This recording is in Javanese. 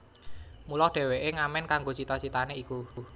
Mula dheweke ngamen kanggo cita citane iku